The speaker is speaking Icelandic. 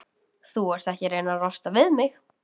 Þú ert ekki að reyna að losna við mig?